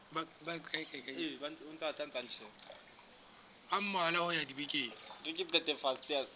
a mmalwa ho ya dibekeng